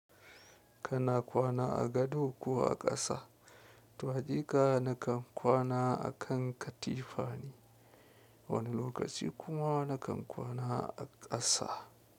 Kana kwana a gado, ko a ƙasa? To haƙika nakan kwana a kan katifa ne, wani lokaci kuma nakan kwana a ƙasa.